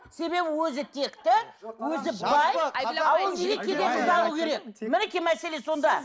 себебі өзі текті өзі бай мінекей мәселе сонда